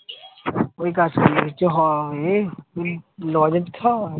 ওই কাজ করলে কিছু হোবে, কুড়ির লজেন্স খাও আর